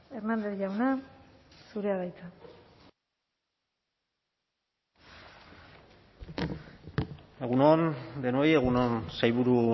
hernández jauna zurea da hitza egun on denoi egun on sailburu